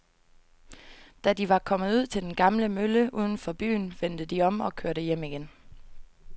Da de var kommet ud til den gamle mølle uden for byen, vendte de om og kørte hjem igen.